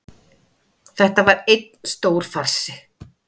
Þetta var einn stór farsi